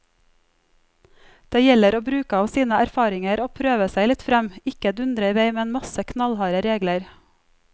Det gjelder å bruke av sine erfaringer og prøve seg litt frem, ikke dundre i vei med en masse knallharde regler.